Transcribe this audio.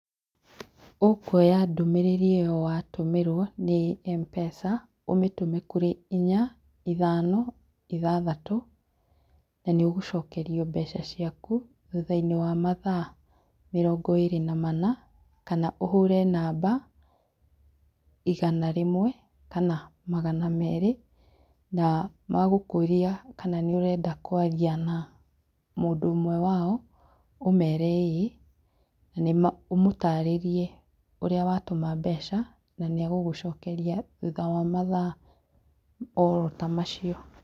Ũkwoya ndũmĩrĩri ĩyo watũmĩrwo nĩ M-Pesa ũmĩte kũrĩ inya, ithano, ithathatũ nanĩ ũgũcokerio mbeca ciaku thutha-inĩ wa mathaa mĩrongo ĩrĩ na mana kana ũhũre namba igana rĩmwe kana magana merĩ, magũkũria kana nĩũrenda kwaria na mũndũ ũmwe wao ũmere ĩĩ na ũmũtarĩrie ũrĩa watũma mbeca na nĩagũgũcokeria thutha wa mathaa oro ta macio